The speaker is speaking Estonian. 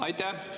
Aitäh!